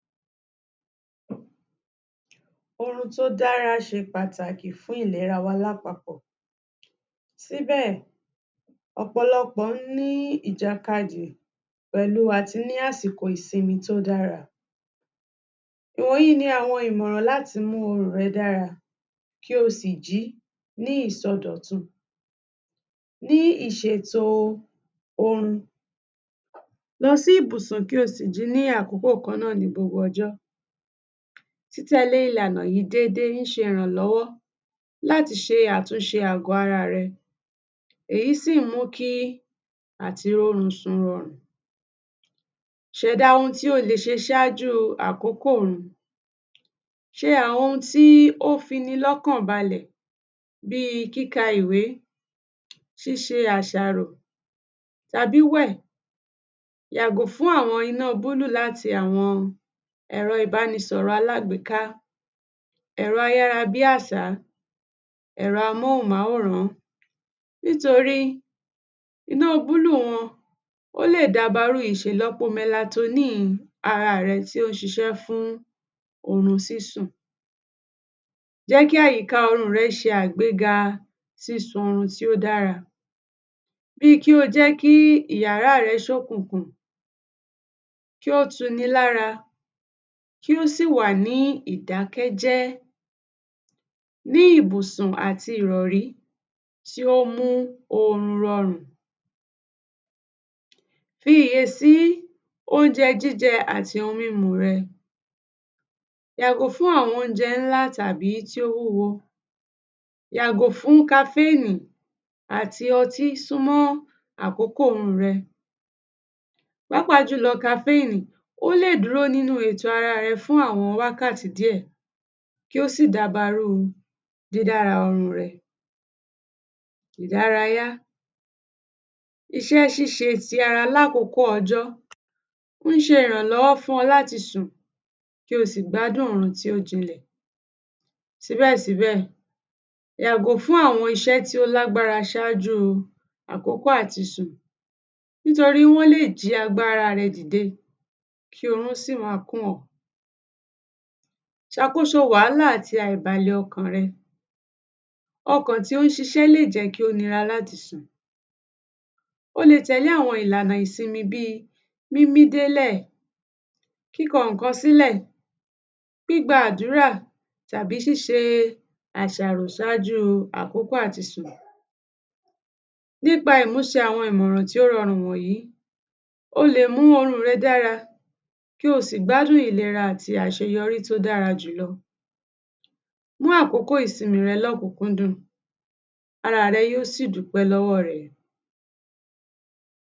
Orun tó dára ṣe pàtàkì fún ìlera wa lápapọ̀, síbẹ̀ ọ̀pọ̀lọpọ̀ ní pẹ̀lú àti ní àsìkò ìsinmi tó dára, ìwọ̀nyìí ni àwọn ìmọ̀ràn láti mú kí orun rẹ dára kí o sì jí ní ìsọdọ̀tun. Ní ìṣètò orun, lọ sí ìbùsùn kí o sì jí ní àkókò kan náà ní gbogbo ọjọ́, títẹ̀lé ìlànà yìí dédé ń ṣe ìrànlọ́wọ́ láti ṣe àtúnṣe àgọ́ ara rẹ èyí sì ń mú kí àti rórun sùn rọrùn. Ṣẹ̀dá ohun tí ó lè ṣe ṣájú àkókò orun, ṣe àwọn ohun tí ó fi ni lọ́kàn balẹ̀ bí kíka ìwé, ṣíṣe àṣàrò tàbí wẹ̀, yàgò fún àwọn iná búlù láti àwọn ẹ̀rọ ìbánisọ̀rọ̀ ẹ̀rọ alágbèká, ẹ̀rọ ayára bí àṣá, ẹ̀rọ amóhùnmáwòrán nítorí iná búlù wọn ó le dábarú ìṣèlọ́po melatonine ara rẹ tí ó ń ṣiṣẹ́ fún orun sísùn, jẹ́ kí àyìká orun rẹ se àgbéga sísun orun tí ó dára bí kí ó jẹ́ kí yàrá rẹ kí ó ṣókùnkùn, kí ó tu ni lára kí ó sì wà ní ìdákẹ́jẹ́, ní ìbùsùn àti ìrọ̀rí tí ó mú orun rọrùn. Fiyèsí óúnjẹ jíjẹ àti ohun mímu rẹ, yàgò fún àwọn óúnjẹ ńlá tàbí tí ó wúwo, yàgò fún kafénì àti ọtí súnmọ́ àkókò orun rẹ pàápàá jùlọ kafénì ó lè dúró nínú ètò ara rẹ fún àwọn wákàtí díẹ̀, kí ó sì dabarú dídára orun rẹ. Ìdárayá, iṣẹ́ ṣíṣe ti ara lákòkóò ọjọ́ ń ṣe ìrànlọ́wọ́ fún ọ láti sùn kí o sì gbádùn orun tí ó jinlẹ̀ síbẹ̀ síbẹ̀, yàgò fún àwọn iṣẹ́ tí ó lágbára ṣájú àkókò àti sùn nítorí wọ́n lẹ̀ jí agbára rẹ dìde kí orun sì má kùn ọ́. Ṣàkóso wàhálà àti àìbalẹ̀ ọkàn rẹ, ọkàn tí ó ń ṣiṣẹ́ lè jẹ́ kí ó nira láti sùn o lè tẹ̀lé àwọn ìlànà ìsinmi bí mímí délẹ̀, kíkọ nǹkan sílẹ̀, gbígba àdúrà tàbí ṣíṣe àsàrò sáájú àkókò àti sùn. Nípa ìmúṣẹ àwọn ìmọ̀ràn tí ó rọrùn wọ̀nyìí, o lè mú orun rẹ dára kí o sì gbádùn ìlera àti àṣeyọrí tí ó dára jù lọ, mú àkókò ìsinmi rẹ lọ́kúnkúndùn ara rẹ yóò sì dúpẹ́ lọ́wọ́ rẹ.